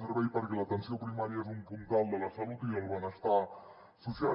servei perquè l’atenció primària és un puntal de la salut i del benestar social